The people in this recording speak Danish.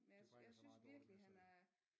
Det bringer så meget dårligt med sig